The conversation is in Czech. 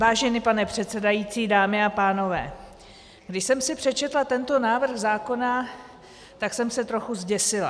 Vážený pane předsedající, dámy a pánové, když jsem si přečetla tento návrh zákona, tak jsem se trochu zděsila.